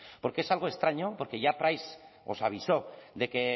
porque es algo extraño porque ya os avisó de que